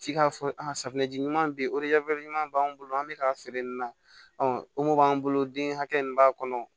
F'i k'a fɔ a safunɛji ɲuman bɛ ye o ɲuman b'an bolo an bɛ k'a feere nin na o mɔ b'an bolo den hakɛ min b'a kɔnɔ